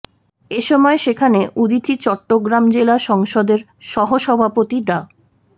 এসময় সেখানে উদীচী চট্টগ্রাম জেলা সংসদের সহ সভাপতি ডা